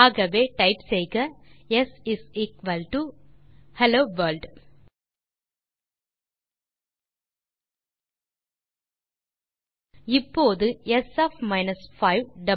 ஆகவே டைப் செய்க s hello world இப்போது ஸ் ஒஃப் 5 இஸ் வாவ்